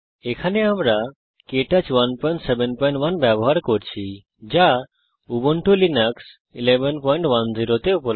এখানে আমরা Ubuntu Linux 1110 এ কে টচ 171 ব্যবহার করছি